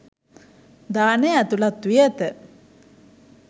දානය ඇතුළත් වී ඇත.